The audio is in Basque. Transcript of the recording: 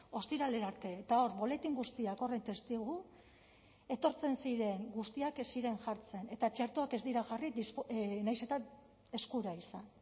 ostiralera arte eta hor boletin guztiak horren testigu etortzen ziren guztiak ez ziren jartzen eta txertoak ez dira jarri nahiz eta eskura izan